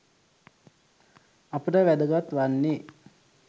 අපට වැදගත් වන්නේ